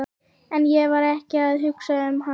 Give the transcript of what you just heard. En ég var ekki að hugsa um hann.